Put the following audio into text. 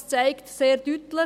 Dies zeigt sehr deutlich: